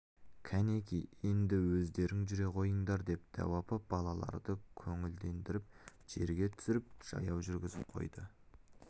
кәнеки енді өздерің жүре қойыңдар деп дәу апа балаларды көңілдендіріп жерге түсіріп жаяу жүргізіп қойды